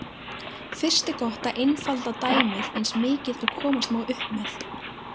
Fyrst er gott að einfalda dæmið eins mikið og komast má upp með.